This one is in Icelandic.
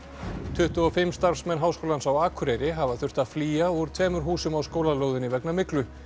tuttugu og fimm starfsmenn Háskólans á Akureyri hafa þurft að flýja úr tveimur húsum á háskólalóðinni vegna myglu